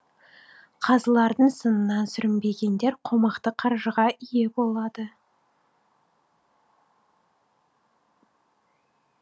қазылардың сынынан сүрінбегендер қомақты қаржыға ие болады